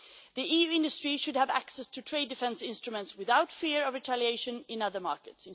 now. The EU industry should have access to trade defence instruments without fear of retaliation in other markets.